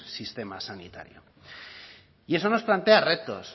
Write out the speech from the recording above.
sistema sanitario y eso nos plantea retos